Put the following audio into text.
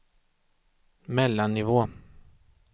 mellannivå